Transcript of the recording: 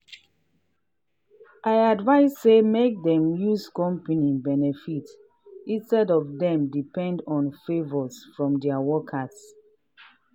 i advice say make dem use company benefit instead of dem depend on favors from dia workers.